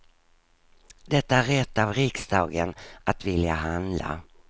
Det är rätt av riksdagen att vilja handla.